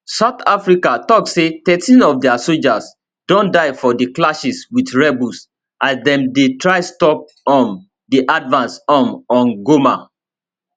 south africa tok say thirteen of dia sojas don die for di clashes wit rebels as dem dey try stop um di advance um on goma